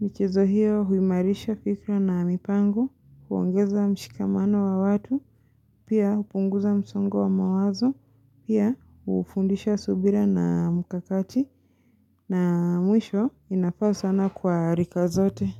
michezo hiyo huimarisha fikra na mipango, huongeza mshikamano wa watu, pia hupunguza msongo wa mawazo, pia hufundisha subira na mkakati na mwisho inafaa sana kwa rika zote.